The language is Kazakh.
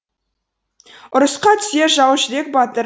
ұрысқа түсе жаужүрек батыр